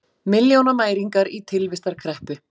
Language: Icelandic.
Milljónamæringar í tilvistarkreppu